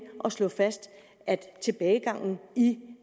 slå fast at tilbagegangen i